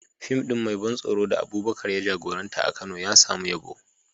Fim ɗin mai ban tsoro da Abubakar ya jagoranta a Kano ya samu yabo.